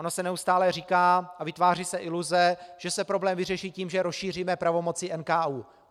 Ono se neustále říká a vytváří se iluze, že se problém vyřeší tím, že rozšíříme pravomoci NKÚ.